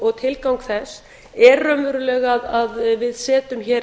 og tilgang þess er raunverulega að við setjum hér